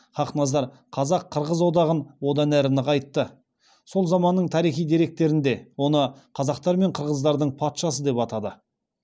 хақназар қазақ қырғыз одағын одан әрі нығайтты сол заманның тарихи деректерінде оны қазақтар мен қырғыздардың патшасы деп атады